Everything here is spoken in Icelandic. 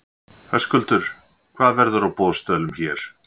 Höskuldur: Hvað verður á boðstólum hér?